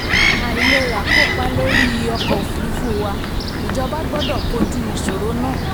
àìlerà kópa lórí ọkọ̀ òfurufú wà ìjọba gbọ́dọ̀ kojú ìṣòro náà.